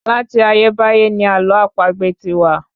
Láti ayébáyé ní àlọ́ àpagbè ti wà